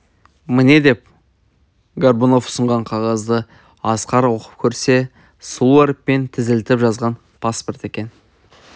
міне деп горбунов ұсынған қағазды асқар оқып көрсе сұлу әріппен тізілтіп жазған паспорт екен